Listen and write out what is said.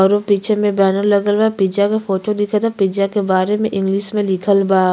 अउरु पीछे में बैनर लागल बा। पिज़्ज़ा के फोटो बा। पिज़्ज़ा के बारे में इंग्लिश लिखल बा।